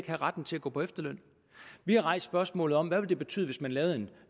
have retten til at gå på efterløn vi har rejst spørgsmålet om hvad det vil betyde hvis man lavede en